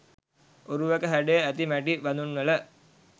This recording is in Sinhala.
ඔරුවක හැඩය ඇති මැටි බදුන්වල